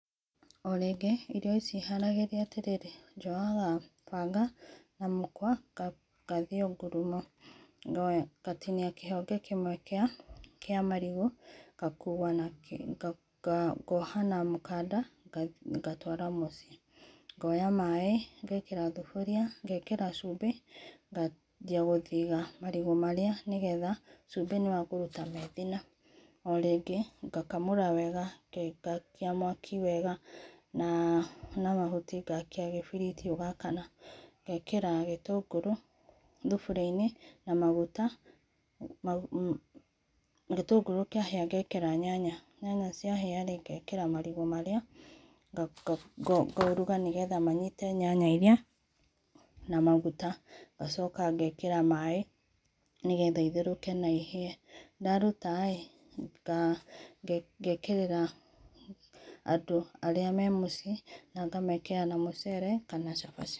O rĩngĩ irio ici haragĩrĩa atĩrĩrĩ njoyaga banga na mũkwa gathĩe o ngũrũmo gatinĩa kĩhonge kĩmwe kĩa marĩgũ gakũa goha na mũkanda gatwara mũciĩ. Ngoya maĩ ngekĩra thũbũrĩa ngekĩra cube ngajĩa gũthĩga marĩgũ marĩa nĩ getha cubĩ nĩ wa kũrũta methĩna o rĩngĩ ngakũmara wega, ngakĩa mwakĩ wega na mahũtĩ ngakĩa kĩbĩrĩtĩ ũgakana ngĩkĩra gĩtũngũrũ thũbũrĩ inĩ na magũta gĩtũngũrũ kĩahĩa ngekĩra nyanya, nyanya ciahĩa gekĩra marĩgũ marĩa ngaũrũga nĩ getha manyĩta nyanya ĩrĩa na magũta ngacoka ngekera maĩ nĩgetha itherũke naihĩe ndarũtaĩ ngekerera andũ arĩa me mũciĩ, ngamekerĩra na mũcere kana cavaci.